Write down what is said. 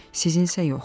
Sizinsə yox.